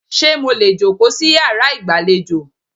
Ṣé mo lè jòkó sí yàrá ìgbàlejò?